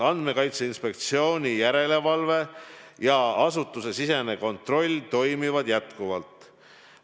Andmekaitse Inspektsiooni järelevalve ja asutusesisene kontroll toimivad jätkuvalt.